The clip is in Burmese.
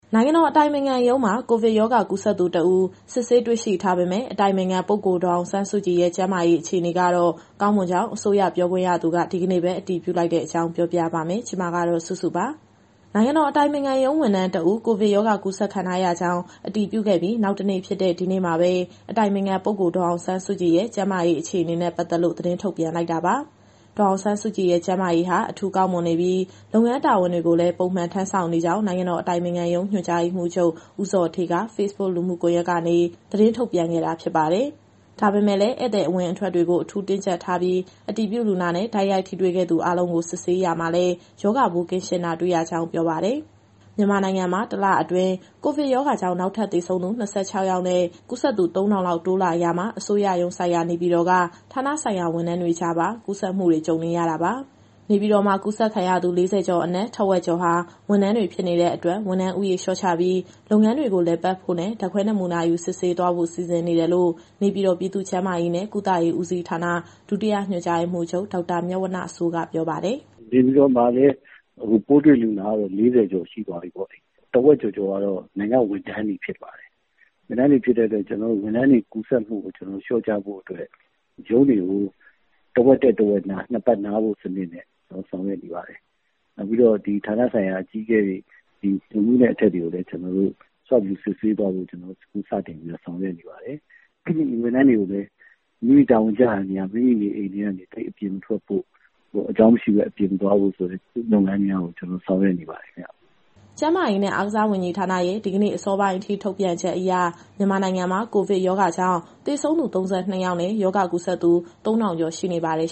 နိုင်ငံတော်အတိုင်ပင်ခံရုံးမှာ ကိုဗစ်ရောဂါ ကူးစက်သူတဦး စစ်ဆေးတွေ့ရှိထားပေမဲ့ အတိုင်ပင်ခံပုဂ္ဂိုလ် ဒေါ်အောင်ဆန်းစုကြည်ရဲ့ ကျန်းမာရေး အခြေအနေကတော့ ကောင်းမွန်ကြောင်း အစိုးရပြောခွင့်ရသူက ဒီကနေ့ပဲ အတည်ပြုလိုက်တဲ့အကြောင်း ပြောပြပါမယ်။ ဒီသတင်းကို ဗွီအိုအေမြန်မာပိုင်း သတင်းထာက်စုစုက တင်ဆက်ပေးမှာပါ။ နိုင်ငံတော် အတိုင်ပင်ခံရုံး ဝန်ထမ်းတဦး ကိုဗစ်ရောဂါ ကူးစက်ခံထားရကြောင်း အတည်ပြုခဲ့ပြီး နောက်တနေ့ဖြစ်တဲ့ ဒီနေ့မှာပဲ အတိုင်ပင်ခံပုဂ္ဂိုလ် ဒေါ်အောင်ဆန်းစုကြည်ရဲ့ ကျန်းမာရေး အခြေအနေနဲ့ ပတ်သက်လို့ သတင်းထုတ်ပြန်လိုက်တာပါ။ ဒေါ်အောင်ဆန်းစုကြည်ရဲ့ ကျန်းမာရေးဟာ အထူးကောင်းမွန်နေပြီး၊ လုပ်ငန်းတာဝန်တွေကိုလည်း ပုံမှန်ထမ်းဆောင်နေကြောင်း နိုင်ငံတော် အတိုင်ပင်ခံရုံး ညွှန်ကြားရေးမှူးချုပ် ဦးဇော်ဌေးက Facebook လူမှုကွန်ရက်ကနေ သတင်းထုတ်ပြန်ခဲ့တာ ဖြစ်ပါတယ်။ ဒါပေမဲ့လည်း ဧည့်သည်အဝင်အထွက်တွေကို အထူးတင်းကြပ်ထားပြီး အတည်ပြုလူနာနဲ့ တိုက်ရိုက်ထိတွေ့ခဲ့သူ အားလုံးကို ဆေးစစ်ရာမှာလည်း ရောဂါပိုးကင်းရှင်းတာ တွေ့ရကြောင်း ပြောပါတယ်။ မြန်မာနိုင်ငံမှာ တလအတွင်း ကိုဗစ်ရောဂါကြောင့် နောက်ထပ်သေဆုံးသူ ၂၆ ယောက်နဲ့ ကူးစက်သူ ၃,၀၀၀ လောက် တိုးလာရာမှာ အစိုးရရုံးစိုက်ရာ နေပြည်တော်က ဌာနဆိုင်ရာ ဝန်ထမ်းတွေကြားမှာပါ ကူးစက်မှုတွေ ကြုံနေရတာပါ။ နေပြည်တော်မှာ ကူးစက်ခံရသူ ၄၀ ကျော်အနက် ထက်ဝက်ကျော်ဟာ ဝန်ထမ်းတွေ ဖြစ်နေတဲ့အတွက် ဝန်ထမ်းဦးရေ လျှော့ချပြီး လုပ်ငန်းတွေကို လည်ပတ်ဖို့နဲ့ ဓာတ်ခွဲနမူနာယူ စစ်ဆေးသွားဖို့ စီစဉ်နေတယ်လို့ နေပြည်တော်ပြည်သူ့ကျန်းမာရေးနဲ့ ကုသရေးဦးစီးဌာန ဒုတိယညွှန်ကြားရေးမှူးချုပ် ဒေါက်တာမြတ်ဝဏ္ဏစိုးက ပြောပါတယ်။ “နေပြည်တော်မှာ အခုပိုးတွေ့လူနာက ၄၀ ကျော်ရှိသွားပြီ။ တဝက်ကျော်ကတော့ နိုင်ငံ့ဝန်ထမ်းတွေဖြစ်ပါတယ်။ ဝန်ထမ်းတွေဖြစ်တဲ့အတွက် ကူးစက်မှုကိုလျှော့ချဖို့ ရုံးတွေကို တဝက်တက် တဝက်နား၊ နှစ်ပတ်နားဖို့စနစ်နဲ့ ဆောင်ရွက်နေပါတယ်။ နောက်ပြီးတော့ ဒီဌာနဆိုင်ရာအကြီးအကဲတွေ၊ ညွှန်မှူးနဲ့ အထက်တွေကိုလည်း Swab ယူစစ်ဆေးသွားဖို့ အခုစတင်ပြီးတော့ ဆောင်ရွက်နေပါတယ်။ ဝန်ထမ်းတွေကိုလည်း မိမိတာဝန်ကျရာနေရာ မိမိနေအိမ်ထဲကနေ သိပ်အပြင်မထွက်ဖို့ အကြောင်းမရှိဘဲ အပြင်မသွားဖို့ လုပ်ငန်းများကို ကျနော်တို့ဆောင်ရွက်နေပါတယ်။” ကျန်းမာရေးနဲ့ အားကစားဝန်ကြီးဌာနရဲ့ ဒီကနေ့ အစောပိုင်းအထိ ထုတ်ပြန်ချက်အရ မြန်မာနိုင်ငံမှာ ကိုဗစ်ရောဂါကြောင့် သေဆုံးသူ ၃၂ ယောက်နဲ့ ရောဂါကူးစက်သူ ၃,၀၀၀ ကျော် ရှိနေပါတယ်